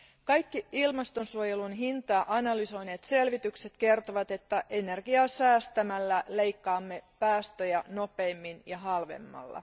Kaikki ilmastonsuojelun hintaa analysoineet selvitykset osoittavat, että energiaa säästämällä leikkaamme päästöjä nopeimmin ja halvemmalla.